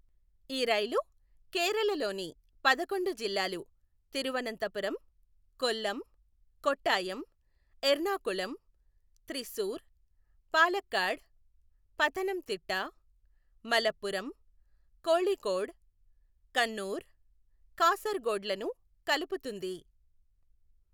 ఈ రైలు కేరళ లోని పదకొండు జిల్లాలు, తిరువనంతపురం, కొల్లమ్, కొట్టాయమ్, ఎర్నాకులమ్, త్రిశూర్, పాలక్కాడ్, పథనమ్ తిట్ట, మలప్పురం, కోఝికోడ్, కన్నూర్, కాసర్ గోడ్ లను కలుపుతుంది.